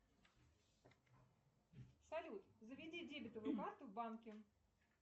салют заведи дебетовую карту в банке